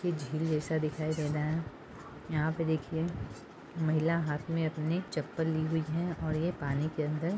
यह झील जैसा दिखाई दे रहा है यहाँ पे देखिए महिला हाथ में अपनी चप्पल ली हुई है और ये पानी के अंदर--